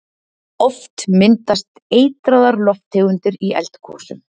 Oft myndast eitraðar lofttegundir í eldgosum.